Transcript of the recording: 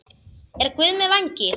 Er Guð með vængi?